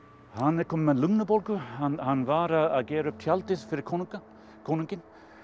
hann er kominn með lungnabólgu hann var að gera upp tjaldið fyrir konunginn konunginn